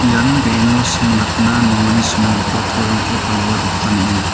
ian be·eno similatna nongani similgipa torangko palgipa dokan ong·a.